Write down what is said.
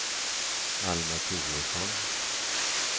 Alma Turesson